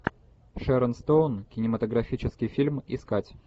шэрон стоун кинематографический фильм искать